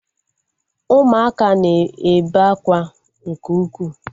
Ụmụaka na-ebe akwa nke ukwuu